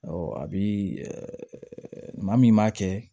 a bi maa min m'a kɛ